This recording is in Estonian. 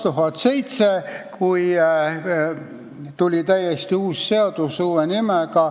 Palun, kolm minutit juurde!